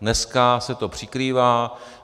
Dneska se to přikrývá.